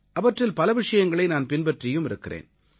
அவற்றில் பல விஷயங்களை நான் பின்பற்றியும் இருக்கிறேன்